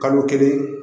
Kalo kelen